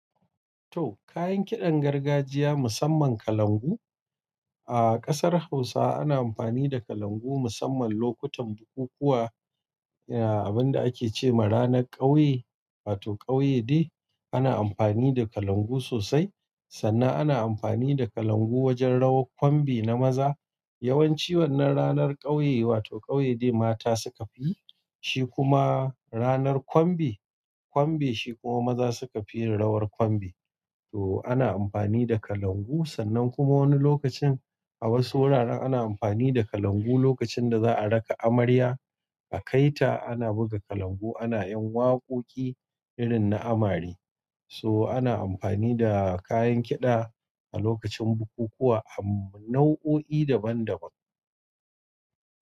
To, kayan kiɗan gargajiya musamman kalangu. A ƙasar Hausa ana amfani da kalangu musamman lokutan bukukuwa. Ga, abinda ake ce ma ranar ƙauye wato ƙauye dai, ana amfani da kalangu sosai. Sannan ana amfani da kalangu wajen rawar ƙwanbe na maza. Yawanci wannan ranar ƙauye wato ƙauye day mata suka fi, shi kuma ranar ƙwanbe, ƙwanbe shi kuma maza suka fi rawar ƙwanbe. To ana amfani da kalangu. Sannan kuma wani lokacin a wasu wuraren ana amfani da kalangu lokacin da za a raka amarya a kai ta. Ana buga kalangu, ana yan waƙoƙi irin na amare. So ana amfani da kayan kiɗa a lokacin bukukuwa a nau'o'i daban daban.